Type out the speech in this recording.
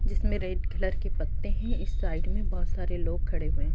जिसमें red colour के पत्ते हैं। इस साइड में बहोत सारे लोग खड़े हुए हैं।